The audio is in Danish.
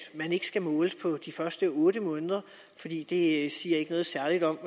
man ikke skal måles på de første otte måneder fordi det ikke siger noget særligt om